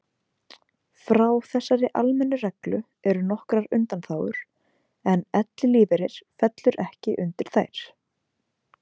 Frá þessari almennu reglu eru nokkrar undanþágur en ellilífeyrir fellur ekki undir þær.